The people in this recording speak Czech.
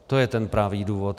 To je ten pravý důvod.